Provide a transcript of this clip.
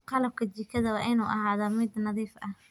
Qalabka jikada waa inuu ahaadaa mid nadiif ah.